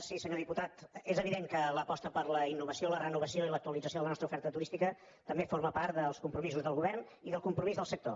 sí senyor diputat és evident que l’aposta per la innovació la renovació i l’actualització de la nostra oferta turística també forma part dels compromisos del govern i del compromís del sector